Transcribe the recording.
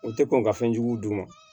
U tɛ kɔn ka fɛn jugu d'u ma